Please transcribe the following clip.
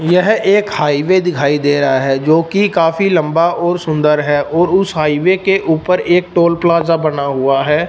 यह एक हाईवे दिखाई दे रहा है जो कि काफी लंबा और सुंदर है और उस हाईवे के ऊपर एक टोल प्लाजा बना हुआ है।